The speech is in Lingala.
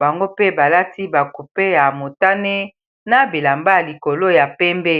bango pe balati bacoupe ya motane na bilamba ya likolo ya pembe